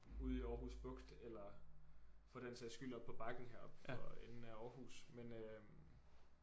Ude i Aarhus Bugt eller for den sags skyld oppe på bakken heroppe for enden af Aarhus men øh